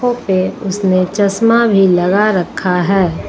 पे उसने चश्मा भी लगा रखा है।